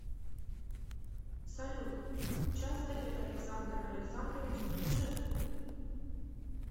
салют часто ли александр александрович путешествует